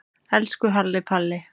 Elsku Halli Palli.